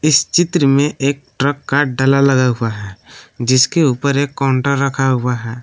इस चित्र में एक ट्रक का डला लगा हुआ है जिसके ऊपर एक काउंटर रखा हुआ है।